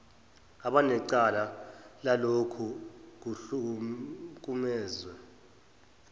abanecala lalokhu kuhlukumeza